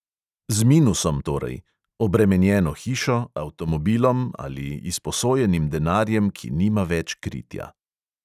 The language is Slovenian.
Z "minusom" torej: obremenjeno hišo, avtomobilom ali izposojenim denarjem, ki nima več kritja.